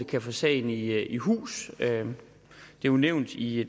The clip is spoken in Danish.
kan få sagen i i hus det er jo nævnt i